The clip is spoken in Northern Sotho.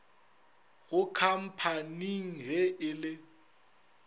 go khamphani ge e le